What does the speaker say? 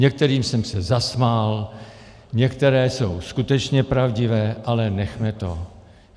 Některým jsem se zasmál, některé jsou skutečně pravdivé, ale nechme toho.